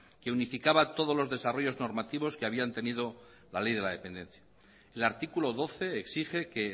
que unificaba todos los desarrollos normativos que habían tenido la ley de la dependencia el artículo doce exige que